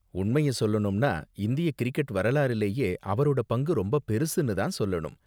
உண்மைய சொல்லணும்னா, இந்திய கிரிக்கெட் வரலாறுலயே அவரோட பங்கு ரொம்ப பெருசுனு தான் சொல்லணும்.